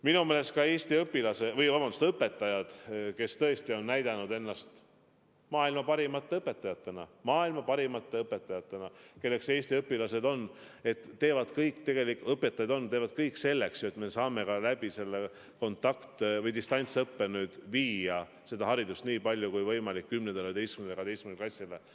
Minu meelest Eesti õpetajad, kes tõesti on näidanud ennast maailma parimate õpetajatena – maailma parimate õpilaste õpetajatena, kelleks Eesti õpilased on –, teevad kõik selleks, et me saame ka distantsõppe abil anda haridust nii palju kui võimalik 10., 11. ja 12. klassile.